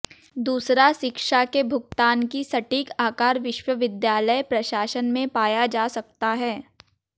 दूसरा शिक्षा के भुगतान की सटीक आकार विश्वविद्यालय प्रशासन में पाया जा सकता है